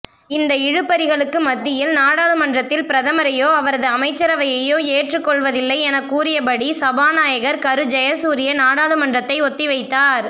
இந்த இழுபறிகளுக்கு மத்தியில்நாடாளுமன்றத்தில் பிரதமரையோ அவரதுஅமைச்சரவையோ ஏற்றுக் கொள்வதில்லை என கூறியபடி சபாநாயகர்கரு ஜயசூரிய நாடாளுமன்றத்தை ஒத்திவைத்தார்